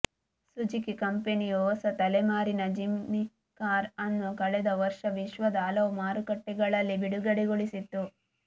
Suzuki ಕಂಪನಿಯು ಹೊಸ ತಲೆಮಾರಿನ ಜಿಮ್ನಿ ಕಾರ್ ಅನ್ನು ಕಳೆದ ವರ್ಷ ವಿಶ್ವದ ಹಲವು ಮಾರುಕಟ್ಟೆಗಳಲ್ಲಿ ಬಿಡುಗಡೆಗೊಳಿಸಿತ್ತು